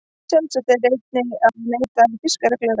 Sjálfsagt er einnig að neyta fisks reglulega.